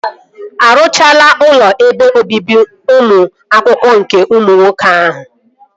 Arụchago ụlọ ebe obibi ụmụ akwụkwọ nke ụmụ nwoke ahụ?